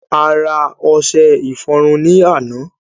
A ra ọṣe ìfọrunni àná